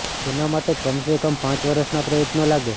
તેના માટે કમ સે કમ પાંચ વર્ષના પ્રયત્નો લાગે